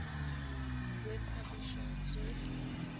web publisher zurich